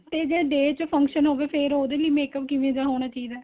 ਤੇ ਜਿਹੜਾ day ਚ function ਹੋਵੇ ਫ਼ੇਰ ਉਹਦੇ ਲਈ makeup ਕਿਵੇਂ ਦਾ ਹੋਣਾ ਚਾਹੀਦਾ ਏ